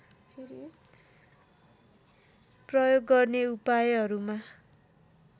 प्रयोग गर्ने उपायहरूमा